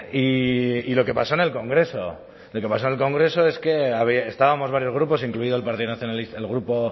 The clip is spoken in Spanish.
y lo que pasó en el congreso lo que pasó en el congreso es que estábamos varios grupos incluido el partido nacionalista